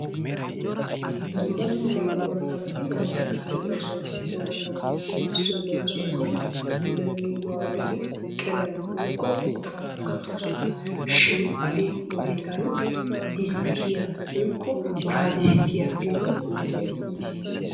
Dumma dumma orattabati wolaytta garssan de'oosona, he orttabatuppe issoy leemissuwassi beni nu ayatti keriyan woykko ottuwan kattosonna shin ha'i nu laytan distiya woyko birraddistiyaa giyogee nu wodiyan yiis.